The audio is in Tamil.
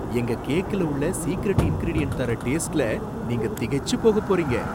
எங்க கேக்ல உள்ள சீக்ரெட் இன்கிரிடியன்ட் தர்ற டேஸ்ட்ல நீங்க திகைச்சுப் போகப் போறீங்க.